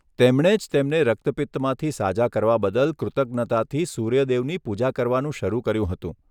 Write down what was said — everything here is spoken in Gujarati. તેમણે જ તેમને રક્તપિત્તમાંથી સાજા કરવા બદલ કૃતજ્ઞતાથી સૂર્યદેવની પૂજા કરવાનું શરૂ કર્યું હતું.